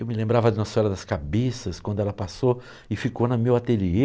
Eu me lembrava de Nossa Senhora das Cabeças, quando ela passou e ficou na meu ateliê.